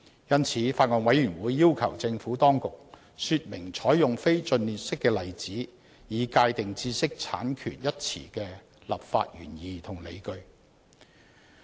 因此，法案委員會要求政府當局說明採用非盡列式的例子，以界定"知識產權"一詞的立法原意和理據。